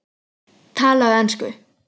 Talaðu ensku!